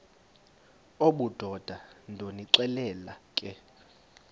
obudoda ndonixelela ke